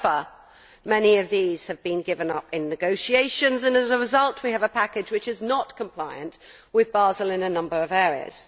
However, many of these were given up during negotiations and, as a result, we have a package which is not compliant with Basel in a number of areas.